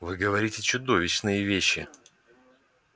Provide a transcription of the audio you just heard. вы говорите чудовищные вещи